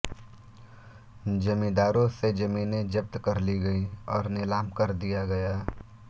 जमींदारों से जमीनें जब्त कर ली गईं और नीलाम कर दिया गया